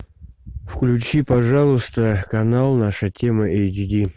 включи пожалуйста канал наша тема эйч ди